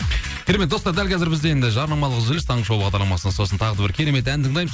керемет достар дәл қазір бізде енді жарнамалық үзіліс таңғы шоу бағдарламасында сосын тағы да бір керемет ән тыңдаймыз